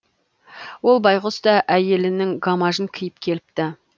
ол байғұс та әйелінің гамажын киіп келіпті